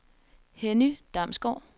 Henny Damsgaard